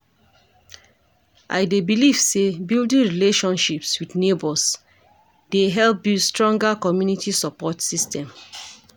I dey believe say building relationships with neighbors dey help build stronger community support system.